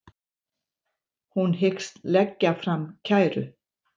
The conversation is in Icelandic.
Hún hyggst leggja fram kæru